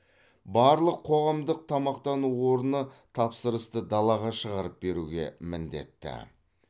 барлық қоғамдық тамақтану орны тапсырысты далаға шығарып беруге міндетті